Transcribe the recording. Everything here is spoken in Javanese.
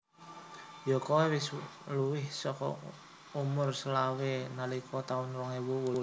Yo koe wis luwih soko umur selawe nalika taun rong ewu wolulas